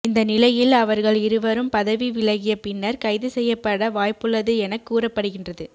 இந்தநிலையில் அவர்கள் இருவரும் பதவி விலகிய பின்னர் கைதுசெய்யப்பட வாய்ப்புள்ளது எனக் கூறப்படுகின்றது